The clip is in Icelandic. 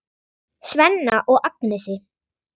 Svenna og Agnesi.